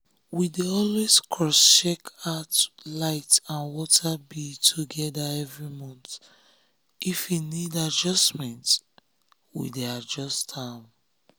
we dey always cross check out light and water bill together every monthif e need adjustment we go adjust am.